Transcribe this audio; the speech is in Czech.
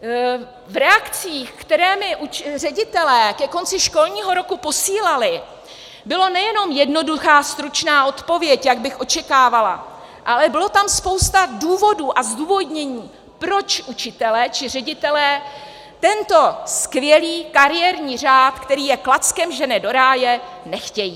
V reakcích, které mi ředitelé ke konci školního roku posílali, byla nejenom jednoduchá, stručná odpověď, jak bych očekávala, ale byla tam spousta důvodů a zdůvodnění, proč učitelé či ředitelé tento skvělý kariérní řád, který je klackem žene do ráje, nechtějí.